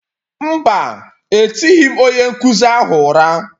Mba, etighị m onye nkụzi ahụ ụra.